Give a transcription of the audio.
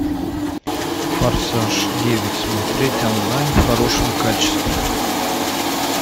форсаж девять смотреть онлайн в хорошем качестве